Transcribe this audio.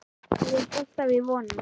Ég hélt alltaf í vonina.